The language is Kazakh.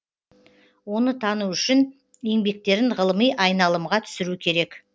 оны тану үшін еңбектерін ғылыми айналымға түсіру керек